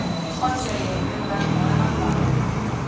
Oče je imel rad nove naprave.